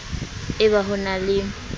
e ba ho na le